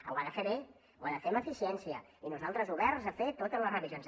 ho ha de fer bé ho ha de fer amb eficiència i nosaltres oberts a fer totes les revisions